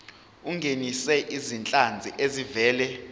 ungenise izinhlanzi ezivela